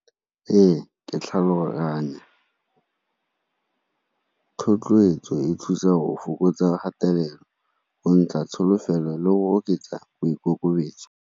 Ee, ke tlhaloganya, thotloetso e thusa go fokotsa kgatelelo go ntsha tsholofelo le go oketsa boikokobetso.